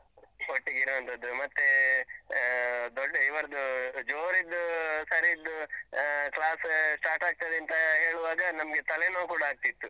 ಒಟ್ಟಿಗಿರುವಂತದ್ದು. ಮತ್ತೇ ಹ. ದೊಡ್ಡಇರ್ವದ್ದು ಜೋರಿದ್ದು sir ದ್ದು ಅಹ್ class start ಆಗ್ತದೆಂತಾ ಹೇಳುವಾಗ ನಮ್ಗೆ ತಲೆನೋವು ಕೂಡ ಆಗ್ತಿತ್ತು.